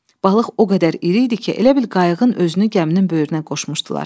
Balıq o qədər iri idi ki, elə bil qayığın özünü gəminin böyrünə qoşmuşdular.